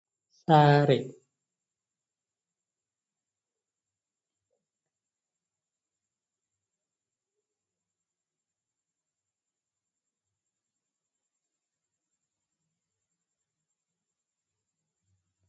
Saare gidan sama nyiɓaama timminaama.